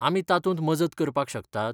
आमी तातूंत मजत करपाक शकतात?